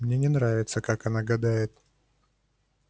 мне не нравится как она гадает